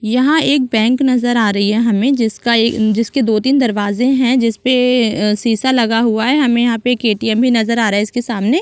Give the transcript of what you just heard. यहाँ एक बैंक नज़र आ रही है हमे जिसका ए जिसके दो तीन दरवाजे है जिस पे अ शीशा लगा हुआ है हमे यहाँ पर एक ए. टी. एम. भी नज़र आ रहा है इसके सामने--